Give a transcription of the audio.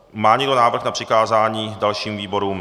Má někdo návrh na přikázání dalším výborům?